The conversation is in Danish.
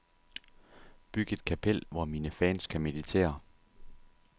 Byg et kapel, hvor mine fans kan meditere.